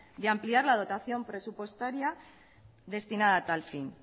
de ampliar la dotación presupuestaria destinada a tal fin